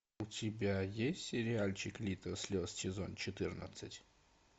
у тебя есть сериальчик литр слез сезон четырнадцать